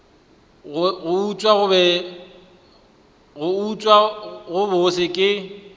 go utswa go bose ke